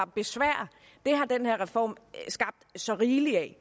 besvær har den her reform skabt så rigeligt af